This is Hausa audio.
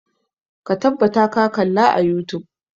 Ka tabbata ka kalla a youtube!